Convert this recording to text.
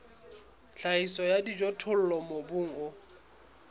tlhahiso ya dijothollo mobung o